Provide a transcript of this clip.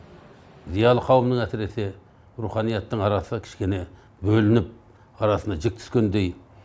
зиялы қауымның әсіресе руханияттың арасы кішкене бөлініп арасына жүк түскендей